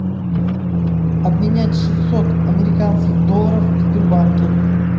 обменять шестьсот американских долларов в сбербанке